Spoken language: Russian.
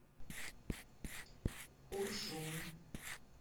уржум